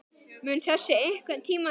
Mun þessu einhvern tímann linna?